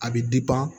A bɛ